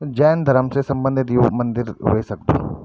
जैन धर्म से सम्बंधित यु मंदिर वे सकदु ।